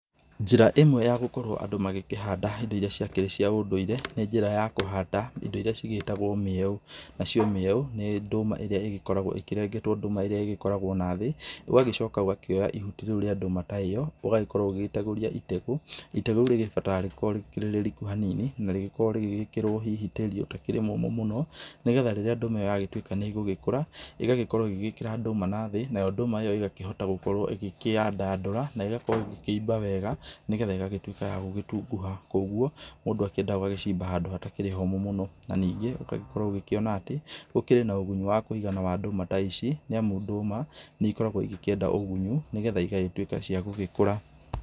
Njĩra ĩmwe ya gukorwo andũ magĩkĩhanda indo iria ciakirĩ cia ũndũire, nĩ njĩra ya kũhanda indo iria ĩgĩtagwo mĩeũ, nayo mĩeũ, nĩ ndũma ĩrĩa ĩgĩkoragwo ĩkĩrengetwo ndũma ĩrĩa ĩkoragwo na thĩ, ũgagĩcoka ũgakioya ihũti rĩu rĩa ndũma ta ĩno, ũgakorwo ũgĩtegũria itegũ, itegũ rĩrĩ rĩbataraga gũkorwo rĩrĩ rĩriku hanini, na rĩkorwo rĩgĩkĩrwo tĩri ũtarĩ mũmũ mũno, nĩgetha rĩrĩa ndũma ĩno ĩgagĩtuĩka nĩyagĩkũra, ĩgakorwo ĩgĩkĩra ndũma na thĩ, nayo ndũma ĩyo ĩgakorwo ĩkĩyandandũra, na ĩgakorwo ĩkĩimba wega, nĩgetha ĩgatuĩka ya gũtunguha. Koguo mũndũ endaga agacimba handũ hatarĩ homũ mũno, na ũgakorwo ũkĩona atĩ ,he na ũgunyu wa kũigana wa ndũma ta ici, nĩamu ndũma nĩikoragwo ikĩenda ũgunyu nĩgetha ĩgagĩkũra